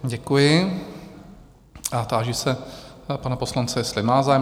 Děkuji a táži se pana poslance, jestli má zájem?